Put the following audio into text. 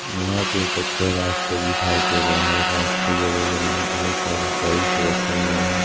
यहां पे कच्चा रास्ता दिखाई दे रहा है रास्ते के बगल में बहोत सारे टाइल्स रखे हुए हैं।